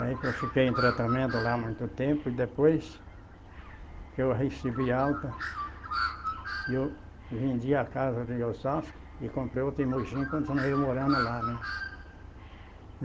Aí que eu fiquei em tratamento lá muito tempo, e depois que eu recebi alta, eu vendi a casa de Osasco e comprei outra em Mogi e continuei morando lá, né?